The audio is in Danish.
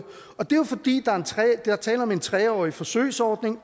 og det er jo fordi der er tale om en tre årig forsøgsordning